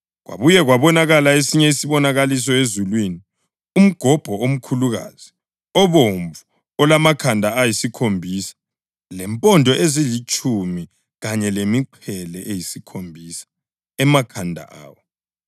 Kwabuya kwabonakala esinye isibonakaliso ezulwini: umgobho omkhulukazi obomvu olamakhanda ayisikhombisa lempondo ezilitshumi kanye lemiqhele eyisikhombisa emakhanda awo.